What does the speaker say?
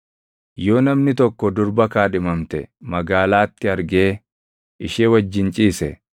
Yoo namni tokko durba kaadhimamte magaalaatti argee ishee wajjin ciise,